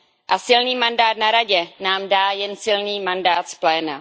A silný mandát na Radě nám dá jen silný mandát z pléna.